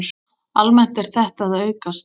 Almennt er þetta að aukast.